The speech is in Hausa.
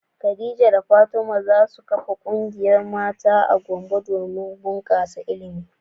Khadija da Fatima za su kafa kungiyar mata a Gombe domin bunkasa ilimi.